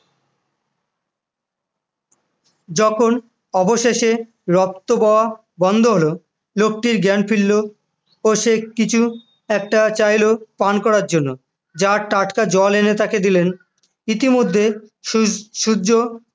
যখন অবশেষে রক্ত বওয়া বন্ধ হল লোকটির জ্ঞান ফিরল ও সেই কিছু একটা চাইল পান করার জন্য জার টাটকা জল এনে তাকে দিলেন ইতিমধ্যে সূ~ সূর্য